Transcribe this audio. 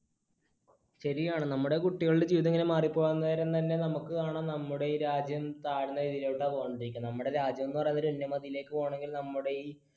ശരിയാണ്, നമ്മുടെ കുട്ടികളുടെ ജീവിതം ഇങ്ങനെ മാറി പോവാൻ നേരം തന്നെ നമുക്കാണ് നമ്മുടെ രാജ്യം താഴ്ന്ന നിലയിലോട്ടാണ് പൊയ്ക്കൊണ്ടിരിക്കുന്നത്, നമ്മുടെ രാജ്യം എന്ന് പറയുന്നത് നമ്മുടെ ഈ